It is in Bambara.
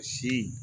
Si